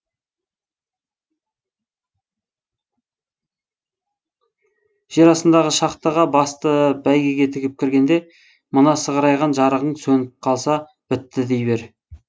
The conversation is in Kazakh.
жер астындағы шахтаға басты бәйгеге тігіп кіргенде мына сығырайған жарығың сөніп қалса бітті дей бер